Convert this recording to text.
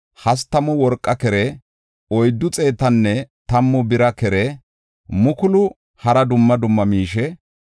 hastamu worqaa kere, oyddu xeetanne tammu bira kere mukulu hara dumma dumma miishe.